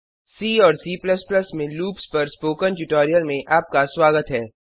सी और C में loops पर स्पोकन ट्यूटोरियल में आपका स्वागत है